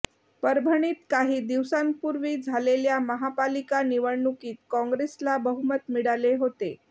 परभणीत काही दिवसांपूर्वी झालेल्या महापालिका निवडणुकीत काँग्रेसला बहुमत मिळाले होते